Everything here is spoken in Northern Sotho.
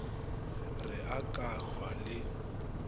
re a ka hwa le